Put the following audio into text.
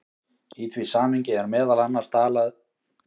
Í því samhengi er meðal annars talað um hve peningar hafi þar mikil áhrif.